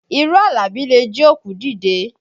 Irọ́ Àlàbí le jí òkú dìde